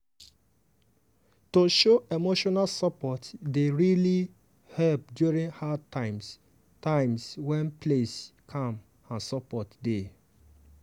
to show emotional support dey really help during hard times times when place calm and support dey.